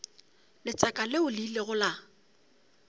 letseka leo le ilego la